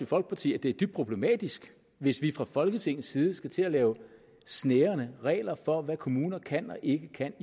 folkeparti at det er dybt problematisk hvis vi fra folketingets side skal til at lave snærende regler for hvad kommunerne kan og ikke kan